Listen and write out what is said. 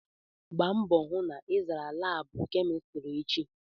Gbaa mbọ hụ na ị zara laabụ kemịstrị echi!